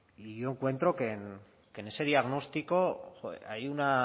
y yo encuentro que en ese diagnóstico hay una